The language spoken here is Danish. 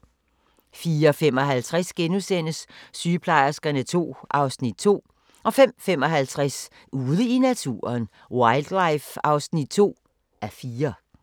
04:55: Sygeplejerskerne II (Afs. 2)* 05:55: Ude i naturen: Wildlife (2:4)